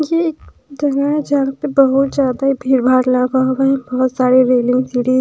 ये एक जगह है जहाँ पर बहोत ज्यादा भीड़-भार लगा हुआ है बहोत सारे रेलिंग लगे है।